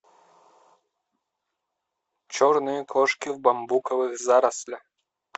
черные кошки в бамбуковых зарослях